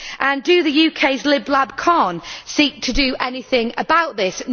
And does the UK's Lib Lab Con seek to do anything about this?